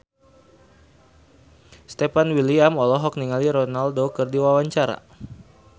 Stefan William olohok ningali Ronaldo keur diwawancara